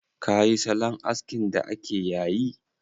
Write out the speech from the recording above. Ka yi salon askin da ake yayi?